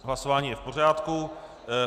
Hlasování je v pořádku.